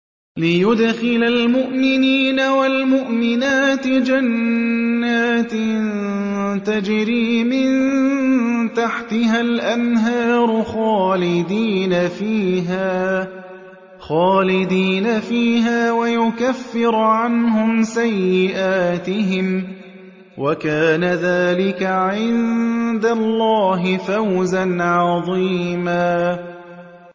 لِّيُدْخِلَ الْمُؤْمِنِينَ وَالْمُؤْمِنَاتِ جَنَّاتٍ تَجْرِي مِن تَحْتِهَا الْأَنْهَارُ خَالِدِينَ فِيهَا وَيُكَفِّرَ عَنْهُمْ سَيِّئَاتِهِمْ ۚ وَكَانَ ذَٰلِكَ عِندَ اللَّهِ فَوْزًا عَظِيمًا